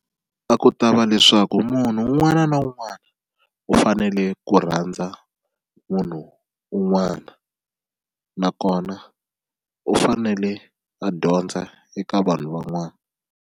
A ku ta va leswaku munhu un'wana na un'wana u fanele ku rhandza munhu un'wana nakona u fanele a dyondza eka vanhu van'wana.